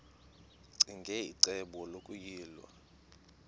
ccinge icebo lokuyilwa